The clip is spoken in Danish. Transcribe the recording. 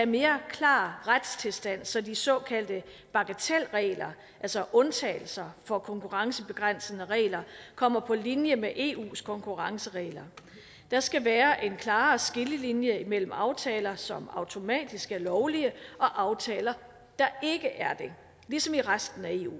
mere klar retstilstand så de såkaldte bagatelregler altså undtagelser fra konkurrencebegrænsende regler kommer på linje med eus konkurrenceregler der skal være en klar skillelinje mellem aftaler som automatisk er lovlige og aftaler der ikke er det ligesom i resten af eu